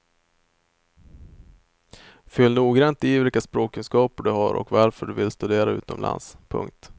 Fyll noggrant i vilka språkkunskaper du har och varför du vill studera utomlands. punkt